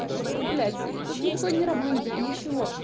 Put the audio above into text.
ну блять и тут никакой не романтики ничего